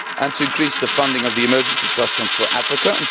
to increase the funding of the Emergency Trust Fund for Africa